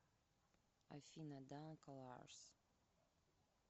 афина данколарс